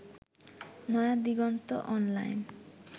Naya Diganta online